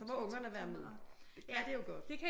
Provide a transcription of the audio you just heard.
Så må ungerne være med det kan de jo godt